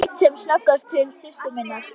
Leit sem snöggvast til systur sinnar.